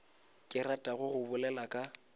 ke ratago go bolela ka